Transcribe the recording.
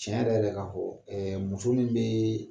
Tiɲɛ yɛrɛ yɛrɛ ka fɔ ɛɛ muso min bɛ